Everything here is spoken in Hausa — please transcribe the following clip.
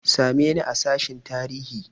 Same ni a sashen tarihi!